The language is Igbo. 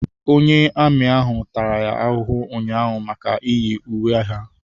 Onye amị ahụ tara ya ahụhụ ụnyaahụ maka iyi uwe ha.